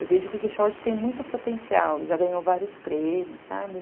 Eu vejo que o quixote tem muito potencial, já ganhou vários prêmios, sabe?